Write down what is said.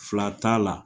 Fila t'a la